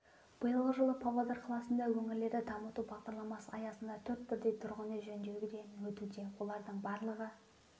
биылғы жылы павлодар қаласында өңірлерді дамыту бағдарламасы аясында төрт бірдей тұрғын үй жөндеуден өтуде олардың барлығы